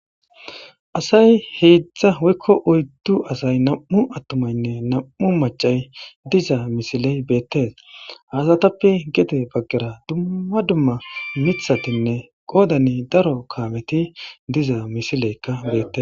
Asay heedzdza woykko oyddu asay nam7u attumaynne nam7u macay diza misiley beettes haasatappe gete baggera dumma dumma mithatinne qoodani daro kaameti diza misileykka beette